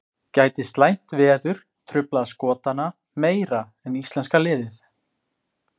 Gæti slæmt veður truflað Skotana meira en íslenska liðið?